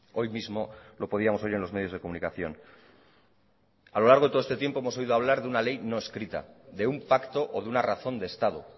hoy mismo lo podíamos oír en los medios de comunicación a lo largo de todo este tiempo hemos oído a hablar de una ley no escrita de un pacto o de una razón de estado